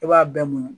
I b'a bɛɛ muɲu